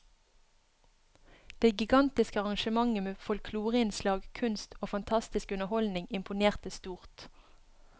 Det gigantiske arrangementet med folkloreinnslag, kunst og fantastisk underholdning imponerte stort.